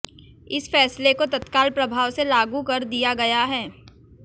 इस फैसले को तत्काल प्रभाव से लागू कर दिया गया है